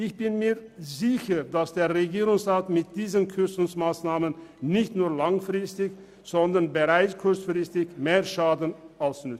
Ich bin mir sicher, dass der Regierungsrat mit diesen Kürzungsmassnahmen nicht nur langfristig, sondern bereits kurzfristig mehr schadet als nützt.